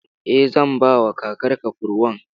Eh, zan bawa kakarka kurwan.